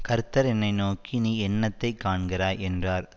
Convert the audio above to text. கர்த்தர் என்னை நோக்கி நீ என்னத்தை காண்கிறாய் என்றார்